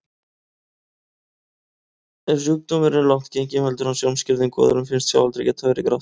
Ef sjúkdómurinn er langt genginn veldur hann sjónskerðingu og öðrum finnst sjáaldrið vera grátt.